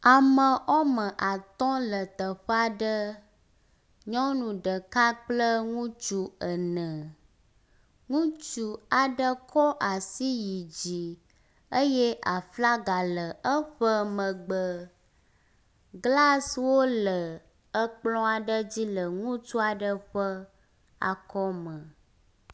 Ame woame atɔ̃ le teƒe aɖe, nyɔnu ɖeka kple ŋutsu ene. Ŋutsu aɖe kɔ asi yi dzi eye aflaga le eƒe megbe, glaswo le ekplɔ aɖe dzi le ŋutsu aɖe ƒe akɔme.